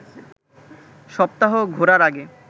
সপ্তাহ ঘোরার আগে